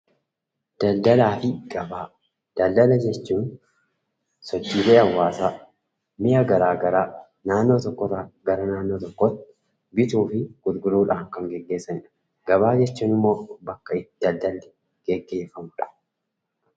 Daldalaafi gabaa? Daldala jechuun sochiilee hawaasaa mi'a garaagaraa naannoo tokkorraa gara naannoo tokkootti bituuf gurguruudhaan kan gaggeesanidha. Gabaa jechuunimmoo bakka itti daldalli gaggeefamudha.